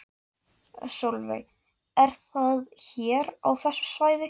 Sólveig: Er það hér á þessu svæði?